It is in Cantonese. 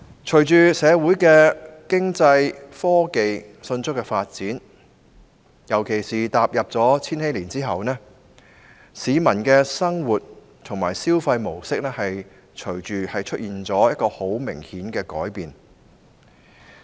隨着社會上經濟和科技迅速發展，特別是踏入千禧年後，市民的生活和消費模式出現明顯改變。